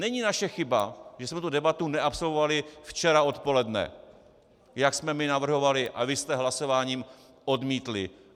Není naše chyba, že jsme tu debatu neabsolvovali včera odpoledne, jak jsme my navrhovali a vy jste hlasováním odmítli.